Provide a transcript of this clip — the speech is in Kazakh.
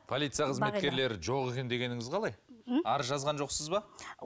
полиция қызметкерлері жоқ екен дегеніңіз қалай ммм арыз жазған жоқсыз ба